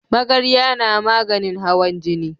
Magarya na maganin hawan jini